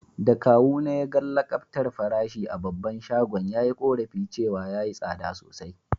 Da kawu na ya gan lakabtar farashi a babban shagon, ya yi korafi cewa ya yi sada sosai.